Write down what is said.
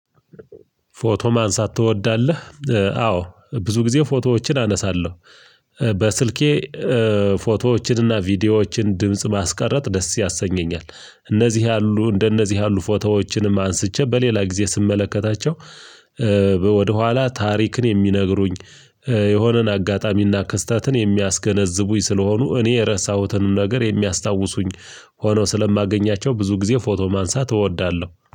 ፎቶ ማንሳት ትወዳለህ አዎ ብዙ ጊዜ ፎቶዎችን አነሳለሁ በስልኬ። ፎቶዎችንና ቪዲዮዎችን ድምጽ ማስቀረት ደስ ያሰኘኛል። እነዚህ ያሉ እንደነዚህ ያሉ ፎቶዎችንም አንስቼ በሌላ ጊዜ ስመለከታቸው። ወደኋላ ታሪክን የሚነግሩኝ የሆነን አጋጣሚና ክስተትን የሚያስገነዝቡኝ ስለሆኑ እኔ የረሳሁትንም ነገር የሚያስታውሱኝ። ሆኖ ስለማገኛቸው ብዙ ጊዜ ፎቶ ማንሳት እወዳለሁ